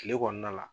Kile kɔnɔna la